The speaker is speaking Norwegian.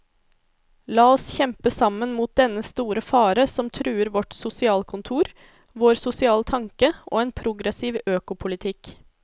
La oss kjempe sammen mot dennne store fare som truer vårt sosialkontor, vår sosiale tanke og en progressiv økopolitikk.